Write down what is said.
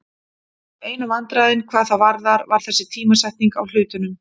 Einu vandræðin hvað það varðar var þessi tímasetning á hlutunum.